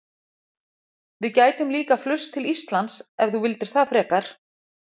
Við gætum líka flust til Íslands, ef þú vildir það frekar.